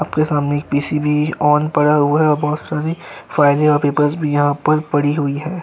आपके सामने एक पीसी भी ऑन पड़ा हुआ है और बोहोत सारी फ़ाइलस और पेपर्स यहाँ पर पड़ी हुई हैं।